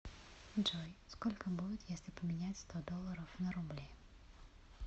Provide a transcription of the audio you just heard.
джой сколько будет если поменять сто долларов на рубли